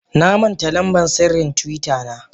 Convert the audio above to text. Namanta lamban sirrin twitter na.